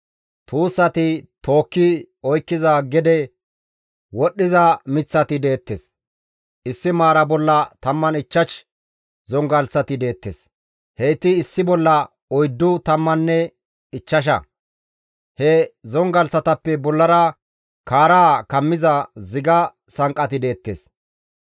Tuussati tookki oykkiza gede wodhdhiza miththati deettes; issi maara bolla 15 zongalththati deettes; heyti issi bolla oyddu tammanne ichchasha. He zongalththatappe bollara kaara kammiza ziga sanqqati deettes.